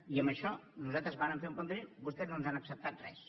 i amb això nosaltres vàrem fer un plantejament vostès no ens han acceptat res